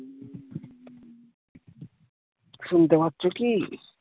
শুনতে পাচ্ছ কি